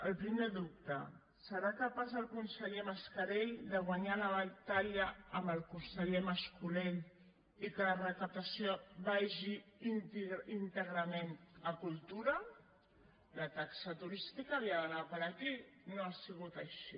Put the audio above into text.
el primer dubte serà capaç el conseller mascarell de guanyar la batalla amb el conseller mas colell i que la recaptació vagi íntegrament a cultura la taxa turística havia d’anar a parar aquí i no ha sigut així